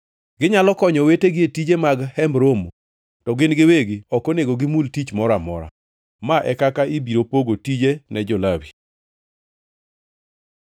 Ginyalo konyo owetegi e tije mag Hemb Romo, to gin giwegi ok onego gimul tich moro amora. Ma e kaka ibiro pogo tije ne jo-Lawi.”